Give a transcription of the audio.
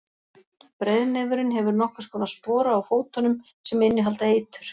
breiðnefurinn hefur nokkurs konar spora á fótunum sem innihalda eitur